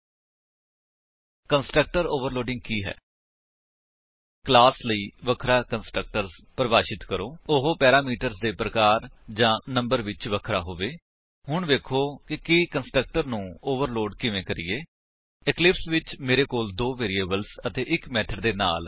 HTTP ਡਬਲਯੂਡਬਲਯੂਡਬਲਯੂਡਬਲਯੂਡਬਲਯੂਡਬਲਯੂਡਬਲਯੂਡਬਲਯੂਡਬਲਯੂਡਬਲਯੂਡਬਲਯੂਡਬਲਯੂਡਬਲਯੂਡਬਲਯੂਡਬਲਯੂਡਬਲਯੂਡਬਲਯੂਡਬਲਯੂਡਬਲਯੂਡਬਲਯੂਡਬਲਯੂਡਬਲਯੂਡਬਲਯੂਡਬਲਯੂਡਬਲਯੂਡਬਲਯੂਡਬਲਯੂਡਬਲਯੂਡਬਲਯੂਡਬਲਯੂਡਬਲਯੂਡਬਲਯੂਡਬਲਯੂਡਬਲਯੂਡਬਲਯੂਡਬਲਯੂਡਬਲਯੂਡਬਲਯੂਡਬਲਯੂਡਬਲਯੂ